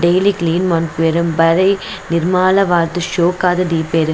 Daily clean ಮನ್ಪುವೆರ್ ಬಾರಿ ನಿರ್ಮಾಲವಾದ್ ಶೋಕಾದ್ ದೀಪೆರ್.